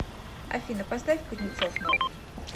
афина поставь кузнецов новый